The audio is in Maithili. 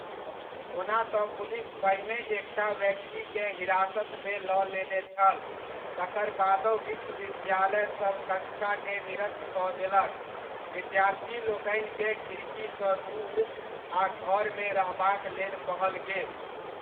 ओना तँ पुलिस पहिनहि एकटा व्यक्तिकेँ हिरासतमे लऽ लेने छल तकर बादहुँ विश्वविद्यालयसभ कक्षाकेँ निरस्त कऽ देलक, विद्यार्थीलोकनिकेँ खिड़कीसँ दूर आ घरमे रहबाक लेल कहल गेल।